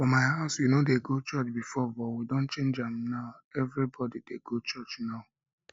for my house we no dey go church before but we don change am everybody dey go church now